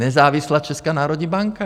Nezávislá Česká národní banka.